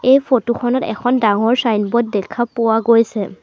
এই ফটো খনত এখন ডাঙৰ ছাইনব'ৰ্ড দেখা পোৱা গৈছে।